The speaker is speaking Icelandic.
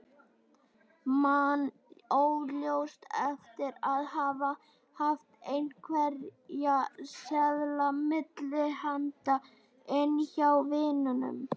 Man óljóst eftir að hafa haft einhverja seðla milli handa inni hjá vininum.